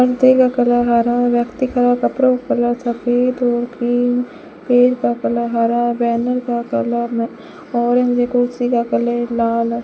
पर्दे का कलर हरा व्यक्ति खड़ा कपड़ों के कलर सफेद और पिंक पेड़ का कलर हरा बैनर का कलर न ऑरेंज कुर्सी का कलर लाल --